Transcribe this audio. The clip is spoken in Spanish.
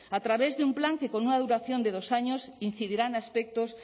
a través de un plan que con una duración de dos años incidirán aspectos